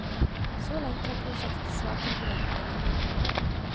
Så langt har prosjektet svart til forventningene.